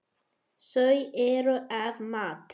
Þau eru af mat.